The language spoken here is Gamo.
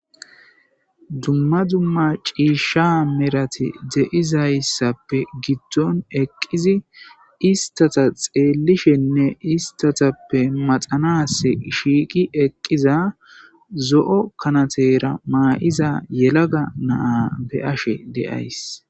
Dumma dumma ciishsha merate de'zayssappe giddon eqqizi istata xeellishine istatappe maxanas shiiqi eqqiza zo'o kanatera ma'iza yelaga na'a be'ashe de'aysi.